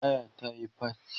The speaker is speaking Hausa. taya ta Yi faci